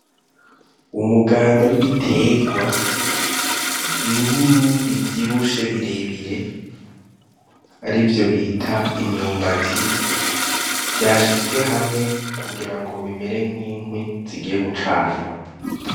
Umuganda w'ibiterwa binini bivyibushe birebire, arivyo bita imyumbati. Vyashizwe hamwe kugira ngo bimere nk'inkwi zigiye gucanwa.